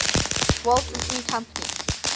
walt disney company